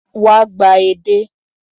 Wá gba edé.